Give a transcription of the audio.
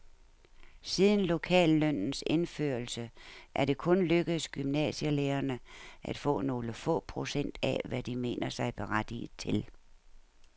Siden lokallønnens indførelse er det kun lykkedes gymnasielærerne at få nogle få procent af, hvad de mener sig berettiget til.